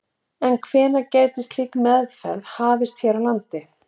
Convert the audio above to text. En hvenær gæti slík aðferð hafist hér á landi?